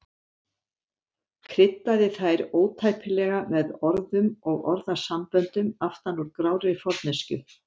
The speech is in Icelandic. Kryddaði þær ótæpilega með orðum og orðasamböndum aftan úr grárri forneskju.